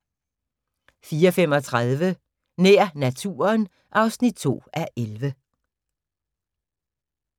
04:35: Nær naturen (2:11)